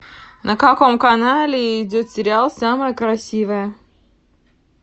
на каком канале идет сериал самая красивая